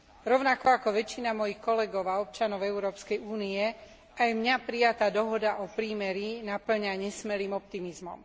Rovnako ako väčšinu mojich kolegov a občanov Európskej únie, aj mňa prijatá dohoda o prímerí napĺňa nesmelým optimizmom.